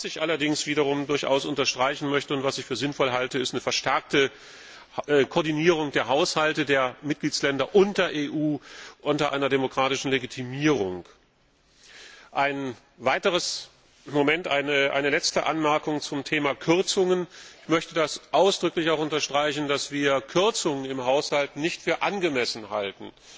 Was ich allerdings wiederum durchaus unterstreichen möchte und was ich für sinnvoll halte, ist eine verstärkte Koordinierung der Haushalte der Mitgliedstaaten und der EU unter einer demokratischen Legitimierung. Eine letzte Anmerkung zum Thema Kürzungen Ich möchte ausdrücklich unterstreichen, dass wir Kürzungen im Haushalt nicht für angemessen halten.